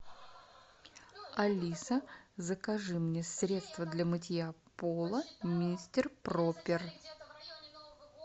алиса закажи мне средство для мытья пола мистер пропер